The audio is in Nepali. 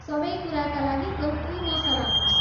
सबै कुराका लागि एउटै मसला हुन्छ।